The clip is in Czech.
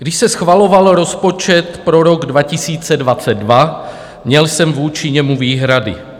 Když se schvaloval rozpočet pro rok 2022, měl jsem vůči němu výhrady.